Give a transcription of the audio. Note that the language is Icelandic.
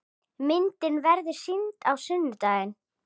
Myndin verður sýnd á sunnudaginn.